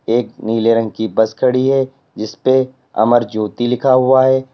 एक नीले रंग की बस खड़ी है जिसपे अमर ज्योति लिखा हुआ है।